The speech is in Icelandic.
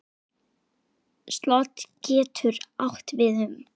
Slot getur átt við um